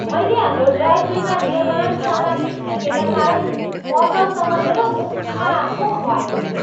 मैले हाम्रो ड्राइभवेमा निर्माण सामग्री फ्याँकेका कारण पसलसँग मेरो मुखामुख भएको थियो।